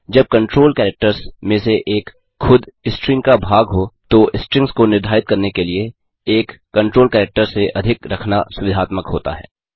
जब control characters में से एक खुद स्ट्रिंग का भाग हो तो स्ट्रिंग्स को निर्धारित करने के लिए एक कंट्रोल कैरेक्टर से अधिक रखना सुविधात्मक होता है